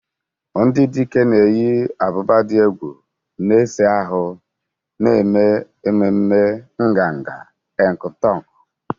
Ndị dike na-eyi ábụbà dị egwu, na-ese ahụ́, na-eme ememe nganga Enkutuk.